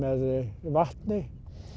vatni